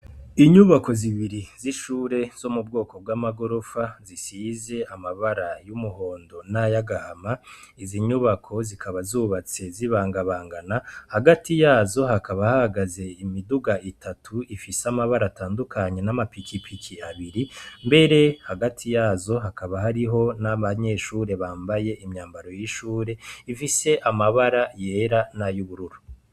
Inyubako zibiri z'ishure zo m'ubwoko bw'amagorofa zisize amabara y'umuhondo nay'agahama, izi nyubako zikaba zubatse zibangabangana, hagati yazo hakaba hahagaze imiduga itatu ifise amabara atandukanye nam pikipiki abiri, mbere hagati yazo hakaba hariho n'abanyeshure bambaye imyambaro y'ishure ifise amabara yera nay'ubururu.